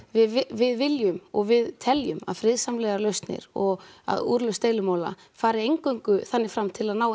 við viljum og við teljum að friðsamlegar lausnir og úrlausn deilumála fari eingöngu þannig fram til að ná